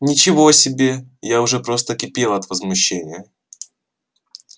ничего себе я уже просто кипела от возмущения